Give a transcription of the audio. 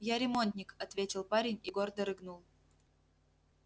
я ремонтник ответил парень и гордо рыгнул